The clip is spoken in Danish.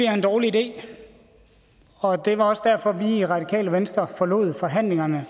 er en dårlig idé og det var også derfor vi i radikale venstre forlod forhandlingerne